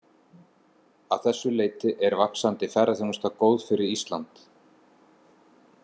Að þessu leyti er vaxandi ferðaþjónusta góð fyrir Ísland.